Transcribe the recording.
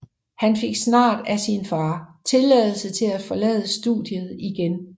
Han fik snart af sin far tilladelse til at forlade studiet igen